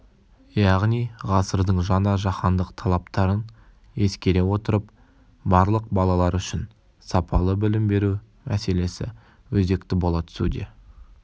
яғни ғасырдың жаңа жаһандық талаптарын ескере отырып барлық балалар үшін сапалы білім беру мәселесі өзекті бола түсуде